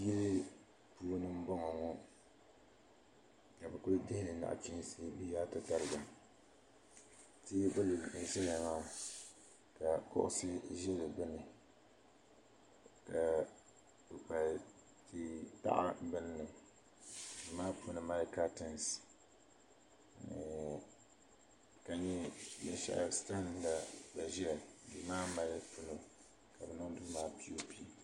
Yili puini n boŋɔ ka bi kuli dihili nachiinsi bi yaa tatariga teebuli n ʒɛya maa ka kuɣusi ʒɛ di gbuni ka kpukpal tia taɣa binni duu maa puuni mali katiins ka nyɛlisara la gba ʒɛya ka bi niŋ duu maa piiyoopi